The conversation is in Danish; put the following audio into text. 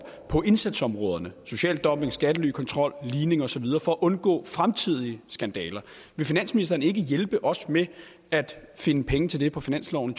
på indsatsområderne social dumping skattelykontrol ligning osv for at undgå fremtidige skandaler vil finansministeren ikke hjælpe os med at finde penge til det på finansloven